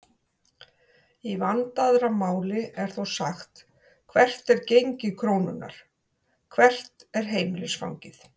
Í vandaðra máli er þó sagt hvert er gengi krónunnar?, hvert er heimilisfangið?